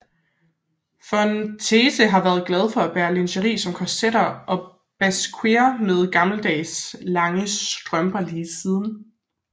Von Teese har været glad for at bære lingeri som korsetter og basquer med gammeldags lange strømper lige siden